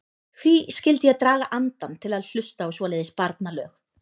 Hví skyldi ég draga andann til að hlusta á svoleiðis barnalög.